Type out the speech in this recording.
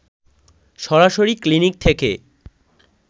সরাসরি ক্লিনিক থেকে